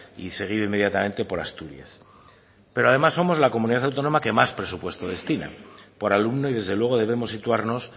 y seguido inmediatamente por asturias pero además somos la comunidad autónoma que más presupuesto destina por alumno y desde luego debemos situarnos